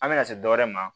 An bɛna se dɔwɛrɛ ma